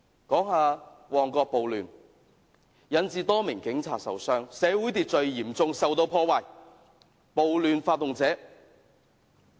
談到旺角暴亂，多名警察受傷，社會秩序受到嚴重破壞。